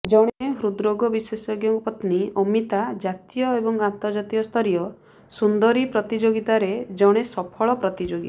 ଜଣେ ହୃଦରୋଗ ବିଶେଷଜ୍ଞଙ୍କ ପତ୍ନୀ ଅମିତା ଜାତୀୟ ଏବଂ ଅନ୍ତର୍ଜାତୀୟ ସ୍ତରୀୟ ସୁନ୍ଦରୀ ପ୍ରତିଯୋଗୀତାରେ ଜଣେ ସଫଳ ପ୍ରତିଯୋଗୀ